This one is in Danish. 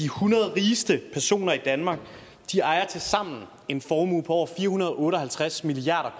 hundrede rigeste personer i danmark tilsammen ejer en formue på over fire hundrede og otte og halvtreds milliard